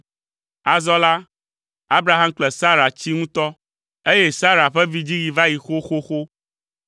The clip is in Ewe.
Azɔ la, Abraham kple Sara tsi ŋutɔ, eye Sara ƒe vidziɣi va yi xoxoxo.